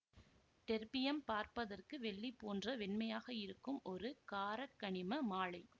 terbium பார்ப்பதற்கு வெள்ளிபோன்ற வெண்மையாக இருக்கும் ஒரு காரக்கனிம மாழை